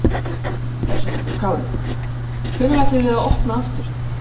Höskuldur Kári: Hvenær ætlið þið að opna aftur?